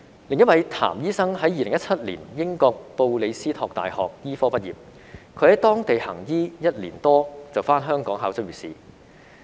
另一位譚醫生在2017年英國布里斯托大學醫科畢業，他在當地行醫一年多，便回港考執業試。